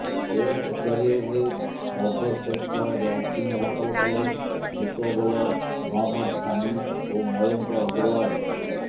test କ୍ୟାରିୟରରେ ସର୍ବଶ୍ରେଷ୍ଠ ranking ହାସଲ କଲେ ଦ୍ରୁତ ବୋଲର ମହମ୍ମଦ ସାମି ଓ ମୟଙ୍କ ଅଗ୍ରଓ୍ବାଲ୍